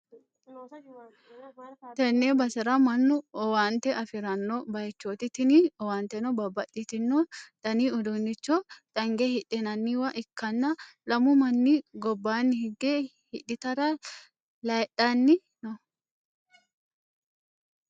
Tenne basera mannu owaante afi'ranno bayichooti, tini owaanteno babbaxxitino dani uduunnicho dange hidhinanniwa ikkanna, lamu manni gobbanni higge hidhitara layidhanni noo.